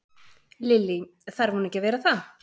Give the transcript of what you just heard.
Lillý: Þarf hún ekki að vera það?